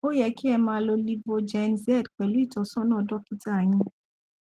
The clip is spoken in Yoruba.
ó yẹ kí ẹ máa lo livogen z pẹlú ìtọsọnà dọkítà yín